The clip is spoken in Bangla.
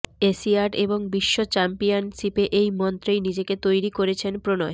এশিয়াড এবং বিশ্ব চ্যাম্পিয়নশিপে এই মন্ত্রেই নিজেকে তৈরি করছেন প্রণয়